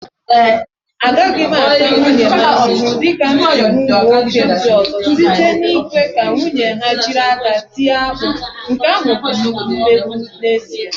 Agaghị m ata nwunye m ahụhụ dị ka m si hụ ụmụ nwoke ndị ọzọ, site n'ikwe ka nwunye ha jiri aka ha tie akpu. Nke ahụ bụ mmegbu n'ezi a